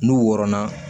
N'u wɔrɔnna